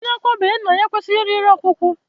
Onye akwabeghi nna ya ekwesịghị iri nri ọkwụkwụ